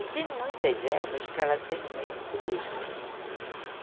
E tem muitas ervas que ela têm o mesmo poder.